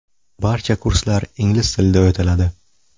Barcha kurslar ingliz tilida o‘tiladi.